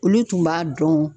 Olu tun b'a dɔn